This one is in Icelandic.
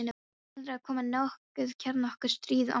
Heldurðu að komi nokkuð kjarnorku- stríð, amma?